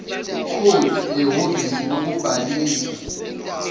code ehhovisi lokubhalisa